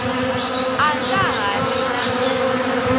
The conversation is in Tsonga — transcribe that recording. a nga ha ri na